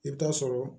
I bɛ taa sɔrɔ